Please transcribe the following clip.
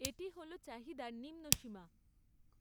এটি হল চাহিদার নিম্নসীমা।